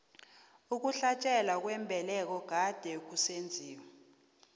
ukuhlatjwa kwembeleko kade kusenziwa